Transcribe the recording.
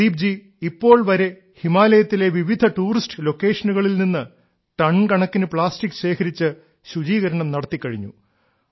പ്രദീപ്ജി ഇപ്പോൾ വരെ ഹിമാലയത്തിലെ വിവിധ ടൂറിസ്റ്റ് ലൊക്കേഷനുകളിൽ നിന്ന് ടൺ കണക്കിന് പ്ലാസ്റ്റിക് ശേഖരിച്ച് ശുചീകരണം നടത്തിക്കഴിഞ്ഞു